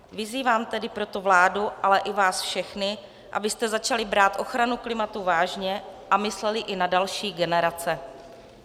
Vyzývám tedy proto vládu, ale i vás všechny, abyste začali brát ochranu klimatu vážně a mysleli i na další generace.